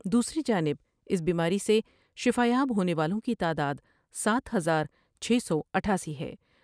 دوسری جانب اس بیماری سے شفایاب ہونے والوں کی تعدادسات ہزار چھ سو اٹھاسی ہیں ۔